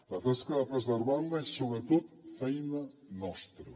la tasca de preservar la és sobretot feina nostra